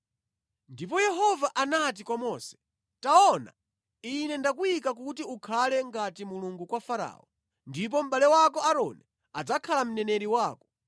Ndipo Yehova anati kwa Mose, “Taona ine ndakuyika kuti ukhale ngati Mulungu kwa Farao, ndipo mʼbale wako Aaroni adzakhala mneneri wako.